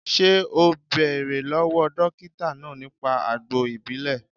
Ṣé o bẹ̀rẹ̀ lọ́wọ́ dókítà náà nípa àgbo ìbílè